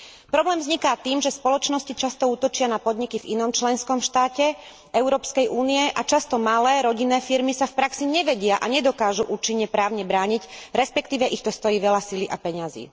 Problém vzniká tým, že spoločnosti často útočia na podniky v inom členskom štáte Európskej únie a často malé rodinné firmy sa v praxi nevedia a nedokážu účinne právne brániť, respektíve ich to stojí veľa sily a peňazí.